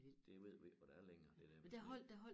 Det ved vi ikke hvad det er længere det der med sne